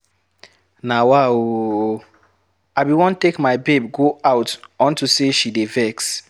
Nawa oooo, I bin wan take my babe go out unto say she dey vex.